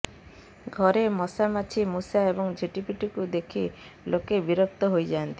ଘରେ ମଶା ମାଛି ମୂଷା ଏବଂ ଝିଟିପିଟିକୁ ଦେଖି ଲୋକେ ବିରକ୍ତ ହୋଇଯାଆନ୍ତି